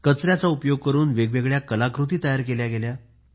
कचऱ्याचा उपयोग करून वेग वेगळ्या कला कृती तयार केल्या गेल्या